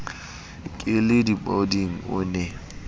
ke la dipoding o ne